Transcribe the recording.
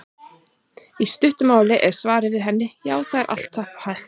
Í stuttu máli er svarið við henni: Já, það er alltaf hægt.